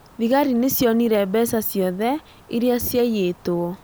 Thigari nĩcionire mbeca ciothe ĩrĩa ciaiyĩtwo